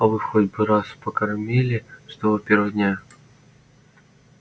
а вы хоть бы раз покормили с того первого дня